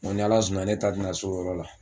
N ko ni Ala sɔnna ne ta tɛna s'o yɔrɔ la.